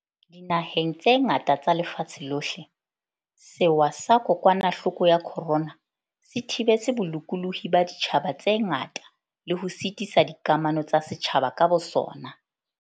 Dinaheng tse ngata tsa lefatshe lohle, sewa sa kokwanahloko ya corona se thibetse bolokolohi ba ditjhaba tse ngata le ho sitisa dikamano tsa setjhaba ka bosona.